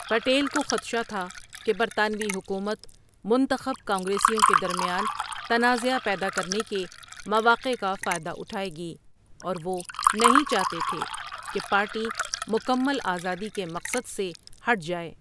پٹیل کو خدشہ تھا کہ برطانوی حکومت منتخب کانگریسیوں کے درمیان تنازعہ پیدا کرنے کے مواقع کا فائدہ اٹھائے گی، اور وہ نہیں چاہتے تھے کہ پارٹی مکمل آزادی کے مقصد سے ہٹ جائے۔